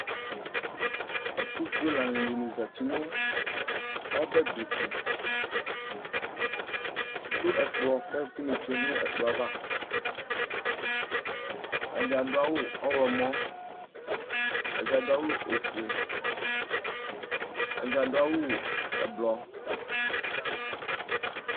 Ɛtʋfʋe lanyi dìní zɛti nʋ ɔbɛ di tu Adu ɛkplɔ kʋ ɛkʋ ni tsʋe nʋ ɛkplɔ ava Ɛdí adu awu ɔwlɔmɔ Ɛdí adu awu ɔfʋe Ɛdí adu awu ɛblɔ